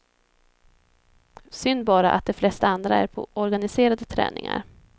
Synd bara att de flesta andra är på organiserade träningar.